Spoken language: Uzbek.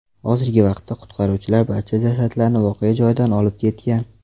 Hozirgi vaqtda qutqaruvchilar barcha jasadlarni voqea joyidan olib ketgan.